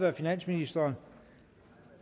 af finansministeren